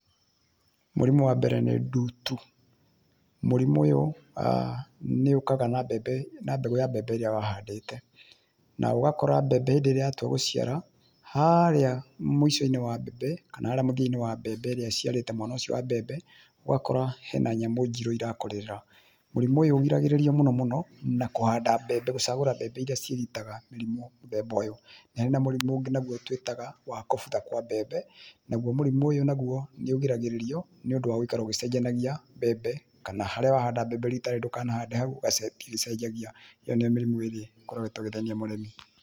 Mũrimũ wa mbere nĩ nduutu, mũrimũ ũyũ nĩ ũkaga na mbembe, na mbegũ ya mbembe ĩrĩa wahandĩte. Na ũgakora mbembe hĩndĩ ĩrĩa yatua gũciara, harĩa mũico-inĩ wa mbembe kana harĩa mũthia-inĩ wa mbembe ĩrĩa ĩciarĩte mwena ũcio wa mbembe ũgakora he na nyamũ njirũ irakũrĩrĩra. Mũrimũ ũyũ ũgiragĩrĩria mũno mũno na kũhanda mbembe gũcagũra mbembe iria ciĩgitaga mĩrimũ mũthemba ũyũ. Nĩ harĩ na mũrimũ ũngĩ naguo twĩtaga wa kofta kwa mbembe, naguo mũrimũ ũyũ naguo nĩ ũgiragĩrĩrio nĩ ũndũ wa gũikara ũgĩcenjanagia mbembe, kana harĩa wahanda mbembe rita rĩrĩ ndũkanahande hau ĩgĩcenjagia, ĩyo nĩyo mĩrimũ ĩrĩa ĩkoretwo ĩgĩthĩnia mũrĩmi.